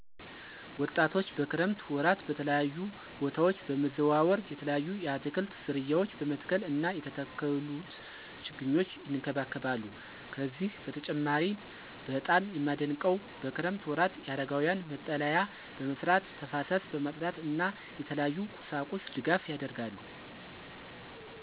ወጣቶች በክረምት ወራት በተለያዩ በታወች በመዘዋወር የተለያዩ የአትክልት ዝርያዎች በመትከል እና የተተከሉት ችግኞች ይንከባከባሉ። ከዚህ በተጨማሪም በጣም የማደንቀው በክረምት ወራት የአረጋውያን መጠለያ በመስራት ተፋሰስ በማፅዳት እና የተለያዩ ቁሳቁስ ድጋፍ ያደርጋሉ።